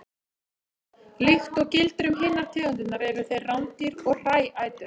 Líkt og gildir um hinar tegundirnar eru þeir rándýr og hræætur.